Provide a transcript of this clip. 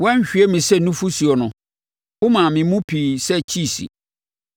Woanhwie me sɛ nufosuo no womaa me mu piiɛ sɛ kyiisi,